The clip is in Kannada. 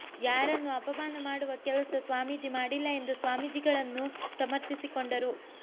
ಯಾರನ್ನು ಅಪಮಾನ ಮಾಡುವ ಕೆಲಸ ಸ್ವಾಮೀಜಿ ಮಾಡಿಲ್ಲ ಎಂದು ಸ್ವಾಮಿಜಿಗಳನ್ನು ಸಮರ್ಥಿಸಿಕೊಂಡರು